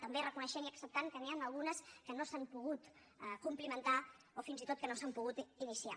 també reconeixent i acceptant que n’hi han algunes que no s’han pogut complir o fins i tot que no s’han pogut iniciar